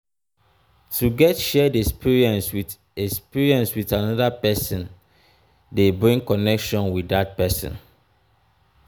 to get shared experience with experience with another persin de bring connection with dat persin